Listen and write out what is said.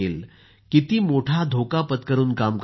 किती मोठा धोका पत्करून काम करत आहेत